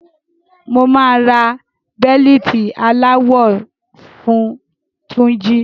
Mo máa ra bẹ̀lìtì aláwọ fun Túnjí.